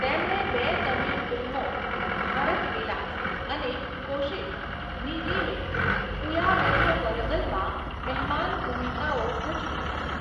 તેમણે બે તમિલ ફિલ્મો 'ભારત વિલાસ' અને 'કોશિસ'ની રિમેક 'ઉયારન્ધવરગલ'માં મહેમાન ભૂમિકાઓ ભજવી હતી.